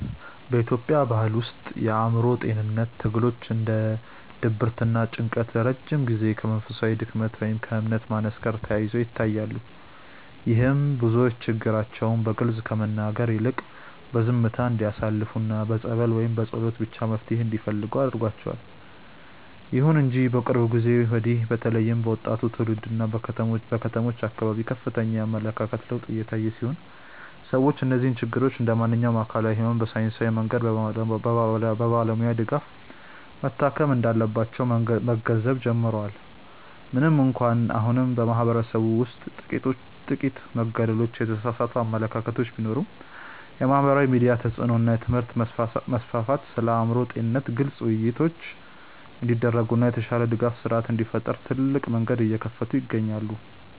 በኢትዮጵያ ባሕል ውስጥ የአእምሮ ጤንነት ትግሎች እንደ ድብርትና ጭንቀት ለረጅም ጊዜ ከመንፈሳዊ ድክመት ወይም ከእምነት ማነስ ጋር ተያይዘው ይታያሉ። ይህም ብዙዎች ችግራቸውን በግልጽ ከመናገር ይልቅ በዝምታ እንዲያሳልፉና በጸበል ወይም በጸሎት ብቻ መፍትሔ እንዲፈልጉ አድርጓቸዋል። ይሁን እንጂ ከቅርብ ጊዜ ወዲህ በተለይም በወጣቱ ትውልድና በከተሞች አካባቢ ከፍተኛ የአመለካከት ለውጥ እየታየ ሲሆን፣ ሰዎች እነዚህን ችግሮች እንደ ማንኛውም አካላዊ ሕመም በሳይንሳዊ መንገድና በባለሙያ ድጋፍ መታከም እንዳለባቸው መገንዘብ ጀምረዋል። ምንም እንኳን አሁንም በማኅበረሰቡ ውስጥ ጥቂት መገለሎችና የተሳሳቱ አመለካከቶች ቢኖሩም፣ የማኅበራዊ ሚዲያ ተጽዕኖ እና የትምህርት መስፋፋት ስለ አእምሮ ጤንነት ግልጽ ውይይቶች እንዲደረጉና የተሻለ የድጋፍ ሥርዓት እንዲፈጠር ትልቅ መንገድ እየከፈቱ ይገኛሉ።